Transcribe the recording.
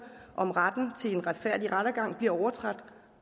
om retten til en retfærdig rettergang bliver overtrådt